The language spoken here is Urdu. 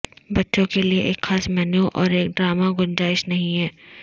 بچوں کے لئے ایک خاص مینو اور ایک ڈرامہ گنجائش نہیں ہے